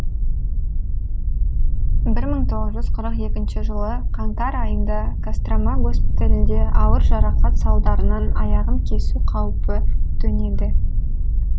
бір мың тоғыз жүз қырық екінші жылы қаңтар айында кострома госпиталінде ауыр жарақат салдарынан аяғын кесу қаупі төнеді